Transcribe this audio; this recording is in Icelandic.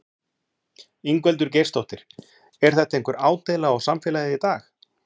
Ingveldur Geirsdóttir: Er þetta einhver ádeila á samfélagið í dag?